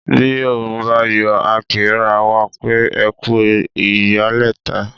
Bi Òòrùn bá yọ, a kí ra wa pé " ẹkú ìyálẹ̀ta"